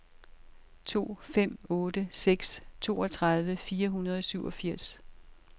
to fem otte seks toogtredive fire hundrede og syvogfirs